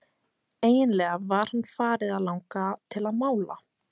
Eiginlega var hann farið að langa til að mála.